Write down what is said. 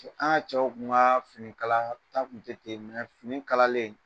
An ka cɛw tun ka finikalata tun tɛ ten fini kalalen